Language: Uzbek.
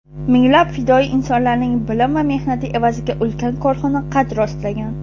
minglab fidoyi insonlarning bilim va mehnati evaziga ulkan korxona qad rostlagan.